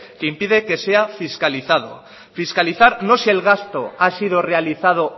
que impide que se fiscalizado fiscalizar no si el gasto ha sido realizado